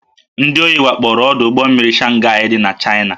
Ndị ohi wakporo ọdụ ụgbọ mmiri Shanghaị dị n'Chaịna